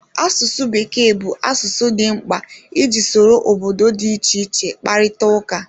Asụsụ Bekee bụ asụsụ dị mkpa iji soro obodo dị iche iche kparịta ụka.